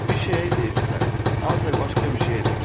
Bir şeyə deyirsən, ancaq başqa bir şey edirsən.